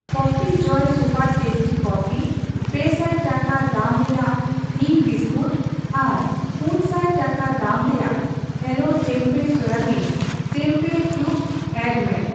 Coffee Joy super tasty coffee, ᱯᱮ ᱥᱟᱭ ᱴᱟᱠᱟ ᱫᱟᱢ ᱨᱮᱭᱟᱜ ᱛᱷᱤᱱ ᱵᱤᱥᱠᱩᱴ ᱟᱨ ᱯᱩᱱ ᱥᱟᱭ ᱴᱟᱠᱟ ᱫᱟᱢ ᱨᱮᱭᱟᱜ ᱦᱮᱞᱳ ᱴᱮᱢᱯᱮᱮ ᱥᱚᱣᱟᱵᱤᱱ ᱴᱮᱢᱯᱮᱦᱚ ᱠᱤᱭᱩᱵᱽᱥ ᱮᱰᱰ ᱢᱮ ᱾